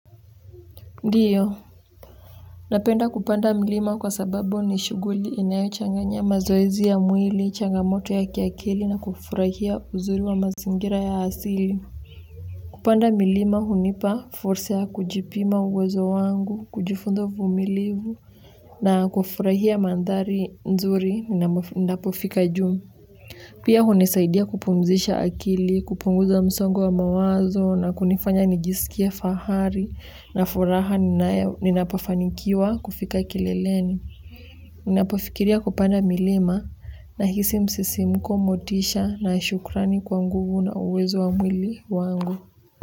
Ndio, napenda kupanda mlima kwa sababu ni shughuli inayo changanya mazoezi ya mwili, changamoto ya kiakili na kufurahia uzuri wa mazingira ya asili. Kupanda milima hunipa, force ya kujipima uwezo wangu, kujifunza vumilivu na kufurahia mandhari nzuri na pofika juu. Pia hunisaidia kupumzisha akili kupunguza msogo wa mawazo na kunifanya nijisikie fahari na furaha ninapo anikiwa kufika kileleni. Ninapofikiria kupanda milima na hisi msisi mko motisha na shukrani kwa nguvu na uwezo wa mwili wangu.